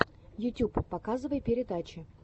ютюб показывай передачи